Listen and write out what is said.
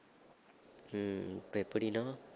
உம் இப்ப எப்படின்னா